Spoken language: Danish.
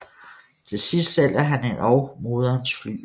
Til sidst sælger han endog moderens flygel